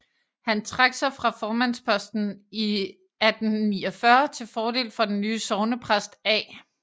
Han trak sig fra formandspostens i 1849 til fordel den nye sognepræst A